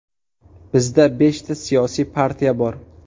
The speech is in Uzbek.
Bizda beshta siyosiy partiya bor.